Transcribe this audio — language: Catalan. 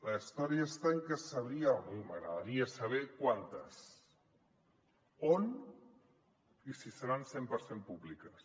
la història està en que m’agradaria saber quantes on i si seran cent per cent públiques